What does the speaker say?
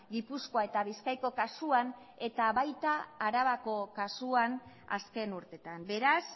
gipuzkoa eta bizkaiko kasuan eta baita arabako kasuan azken urteetan beraz